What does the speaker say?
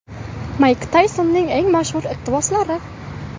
Mayk Taysonning eng mashhur iqtiboslari.